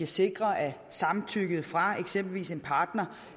sikre at samtykket fra eksempelvis en partner